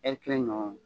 kelen ɲɔgɔn